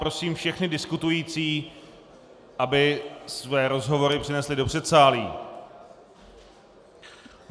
Prosím všechny diskutující, aby své rozhovory přenesli do předsálí.